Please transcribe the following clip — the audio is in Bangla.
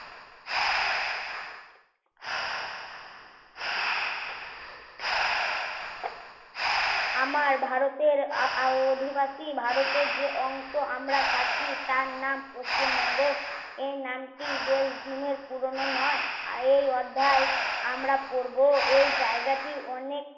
আমার ভারতের অধিবাসী ভারতের যে অংশে আমরা থাকি তার নাম পশ্চিমবঙ্গ এই নামটি বেশ দিনের পুরোনো নয় এই অধ্যায় আমরা পড়বো এই জায়গাটি অনেক